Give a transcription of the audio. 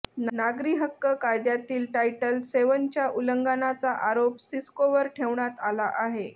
नागरी हक्क कायद्यातील टायटल सेव्हनच्या उल्लंघनाचा आरोप सिस्कोवर ठेवण्यात आला आहे